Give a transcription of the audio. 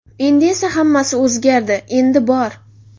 Endi esa hammasi o‘zgardi, endi bor!